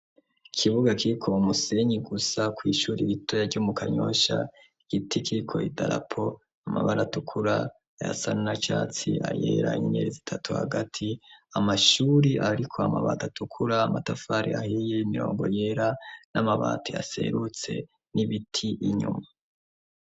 Ikibuga kiko umusenyi gusa ku ishuri ibitoya ryo mu kanyosha igiti kiko idalapo amabara tukura yasa na catsi ayera inerezi itatu hagati amashuri ariko amabati atukura amatafari ahiye imirongo yera n'amabati aserutse n'ibiti inyuma.